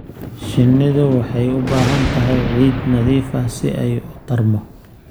Shinnidu waxay u baahan tahay ciid nadiif ah si ay u tarmo.